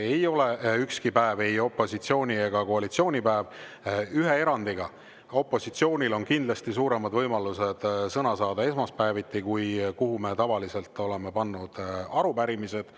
Ei ole ükski päev ei opositsiooni ega koalitsiooni päev, ühe erandiga: opositsioonil on kindlasti suuremad võimalused sõna saada esmaspäeviti, kuhu me tavaliselt oleme pannud arupärimised.